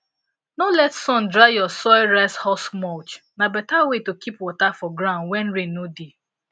no let sun dry your soil rice husk mulch na better way to keep water for ground when rain no dey